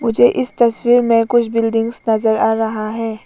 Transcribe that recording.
मुझे इस तस्वीर में कुछ बिल्डिंग्स नजर आ रहा है।